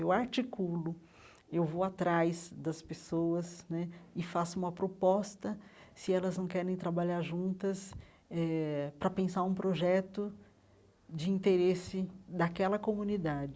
Eu articulo, eu vou atrás das pessoas né e faço uma proposta, se elas não querem trabalhar juntas eh, para pensar um projeto de interesse daquela comunidade.